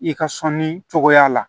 I ka sɔnni cogoya la